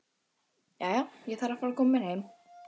Jæja, ég þarf að fara að koma mér heim